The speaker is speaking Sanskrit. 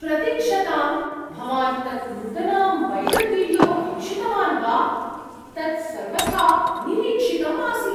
प्रतीक्षताम्, भवान् तत् नूतनां वैरल्वीडियो वीक्षितवान् वा? तत् सर्वथा अनिरीक्षितम् आसीत्।